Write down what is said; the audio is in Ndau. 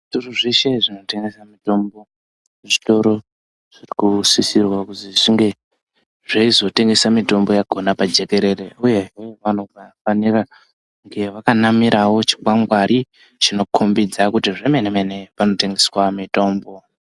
Zvitoro zveshe zvino tengesa mitombo zvitoro zviri kusisirwa kuzi zvinge zveizo tengesa mitombo yakona pa jekerere uyehe vanofanira kunge vaka namirawo chikwangwari chino kombidza kuti zve mene mene pano tengeswa mitombo.